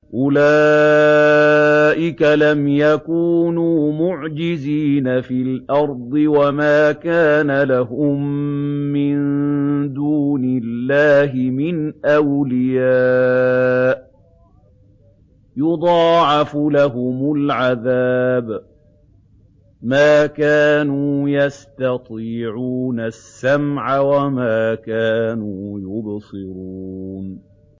أُولَٰئِكَ لَمْ يَكُونُوا مُعْجِزِينَ فِي الْأَرْضِ وَمَا كَانَ لَهُم مِّن دُونِ اللَّهِ مِنْ أَوْلِيَاءَ ۘ يُضَاعَفُ لَهُمُ الْعَذَابُ ۚ مَا كَانُوا يَسْتَطِيعُونَ السَّمْعَ وَمَا كَانُوا يُبْصِرُونَ